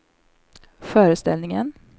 föreställningen